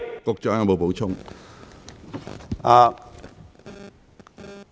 局長，你有否補充？